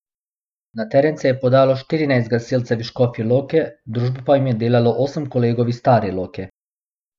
Na teren se je podalo štirinajst gasilcev iz Škofje Loke, družbo pa jim je delalo osem kolegov iz Stare Loke.